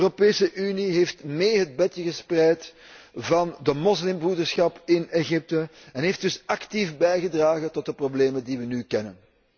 De Europese Unie heeft mee het bedje gespreid van de moslimbroederschap in Egypte en heeft dus actief bijgedragen tot de problemen die wij nu kennen.